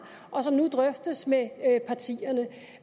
og som nu drøftes med partierne